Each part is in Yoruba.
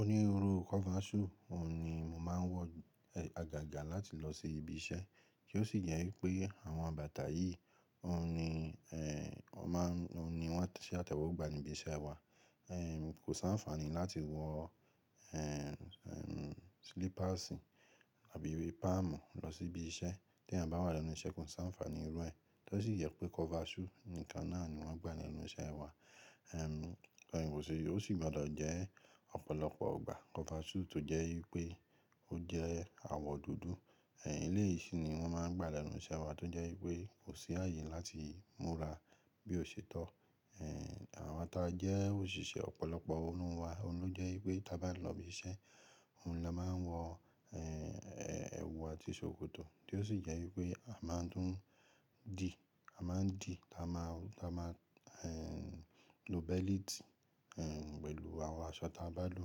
Onírúurú kọvasú òun ni mo máa ń wọ agaga láti lọ sí ibi iṣẹ́. Tí o sì jẹ́ wípé àwọn bàtà yìí òun ni wọ́n de ṣe àtẹ̀wọ gbà níbi iṣẹ́ wa. Kò si anfaani láti wọ slippers àbí palm lọ sí ibi iṣẹ́. Tí eeyàn bá wà lẹ́nu iṣẹ́ kò si anfaani irú ẹ. Tí o sì jẹ́ wípé kọvasú nìkan náà ni wọ́n gbà lẹ́nu iṣẹ́ wa. Ó sì gbọdọ̀ jẹ́ ọ̀pọ̀lọpọ̀ ọgbà kọvasú tó jẹ́ wípé ó jẹ́ àwọ̀ dúdú. Eléyìí si ni wọ́n máa ń gbà lẹ́nu iṣẹ́ wa tó jẹ́ wípé kò sí ààyè láti múra bí ò ṣe tọ́. Àwa ta jẹ́ òṣìṣẹ́ ọ̀pọ̀lọpọ̀ n nu wa, òun ló jẹ́ wípé tí a bá n lọ ibi iṣẹ́, òun ni a máa ń wọ ẹ̀wù àti ṣòkòtò tí ó sì jẹ́ wípé a máa ń tùn dí, a máa ń dí, a máa lo bẹ́líìtì pẹ̀lú àwọn aṣọ tí a bá lò.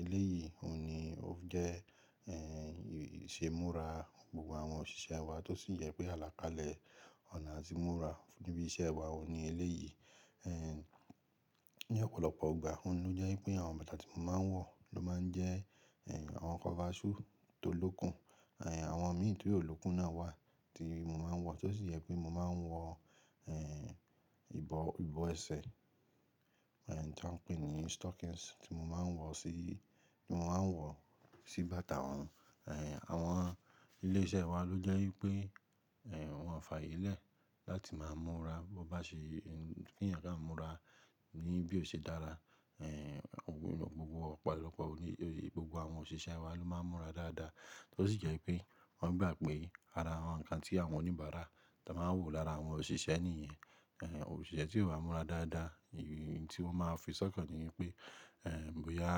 Eléyìí òun ni ó jẹ́ ìṣe múra gbogbo àwọn òṣìṣẹ́ wa tó sì jẹ pé àlàkalẹ̀ ọ̀nà atí múra níbi iṣẹ́ wa òun ni eléyìí. Ní ọ̀pọ̀lọpọ̀ gbà, òun ló jẹ́ wípé àwọn bàtà tí mo máa ń wọ ló máa ń jẹ́ àwọn kọvasú tó lókùn. Àwọn míì tí ó lókùn náà wà tí mo máa ń wọ, tí o sì jẹ pé mo máa ń wọ ìbọ̀ ẹsẹ̀ tí wọ́n ń pè ní stockings tí mo máa ń wọ sí bàtà wọn. Àwọn ilé iṣẹ́ wa ló jẹ́ wípé wọ́n ò fààyè lẹ́ẹ̀ láti máa múra bí ó bá ṣe kí eeyàn kán múra ní bí ò ṣe dára. Ọ̀pọ̀lọpọ̀ gbogbo àwọn òṣìṣẹ́ wa ló máa ń múra dáadáa, tí ó sì jẹ́ wípé wọ́n gbà pé ara àwọn nǹkan tí àwọn oníbàárà tan máa ń wò lára àwọn òṣìṣẹ́ nìyẹn. Òṣìṣẹ́ tí ò bá múra dáadáa, ohun tí wọ́n máa fi sọ́kan ni wípé bóyá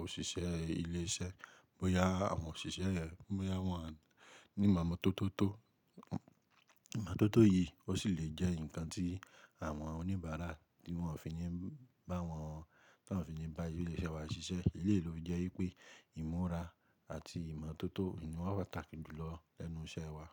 òṣìṣẹ́ ilé iṣẹ́, bóyá àwọn òṣìṣẹ́ rẹ̀, bóyá wọ́n ní ìmọ̀tótó. Ìmọ̀tótó yìí ó sì lè jẹ́ nǹkan tí àwọn oníbàárà tí wọn ò fi ní bá wọ́n, tí wọn ò fi ní bá ilé iṣẹ́ wa ṣiṣẹ́. Eléyìí ló fi jẹ́ wípé ìmúra àti ìmọ̀tótó ni wọ́n pàtàkì jù lọ lẹ́nu iṣẹ́ wa.